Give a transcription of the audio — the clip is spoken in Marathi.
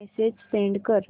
मेसेज सेंड कर